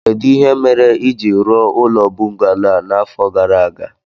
Kedụ ihe mere i jiri rụọ ụlọ bọngalo a n'afọ gara aga